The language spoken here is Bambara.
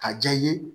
Ka ja i ye